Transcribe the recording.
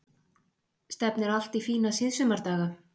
Stefnir allt í fína síðsumardaga